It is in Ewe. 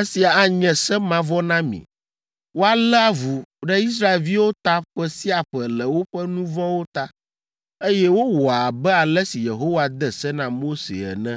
“Esia anye se mavɔ na mi; woalé avu ɖe Israelviwo ta ƒe sia ƒe le woƒe nu vɔ̃wo ta.” Eye wowɔ abe ale si Yehowa de se na Mose ene.